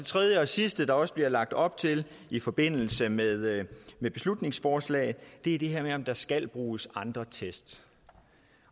sidste der også bliver lagt op til i forbindelse med med beslutningsforslaget er det her med om der skal bruges andre test